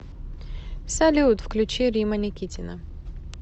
салют включи римма никитина